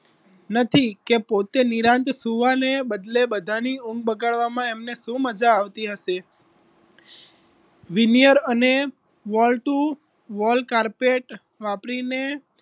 નથી કે પોતે નિરાંત સુવાને બદલે બધાની ઊંઘ બગાડવા માં એમને શું મજા આવતી હશે વિનિયર અને વળતું wall carpet વાપરીને